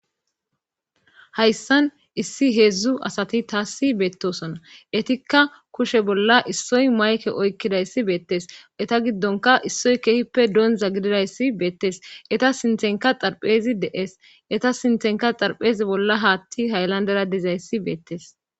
hayssan issi heedzdzu asati taassi beettosona etikka kushe bolla issoy mayke oykkidayssi beettes eta giddonka issoy keehippe doonza gididayssi beettes eta sinthenka xarphezi de7ees eta sinthenka xarphezi bolla haatti hayllandera dizayssi beettes